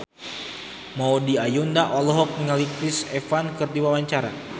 Maudy Ayunda olohok ningali Chris Evans keur diwawancara